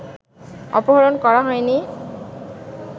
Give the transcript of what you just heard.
অপহরণ করা হয়নি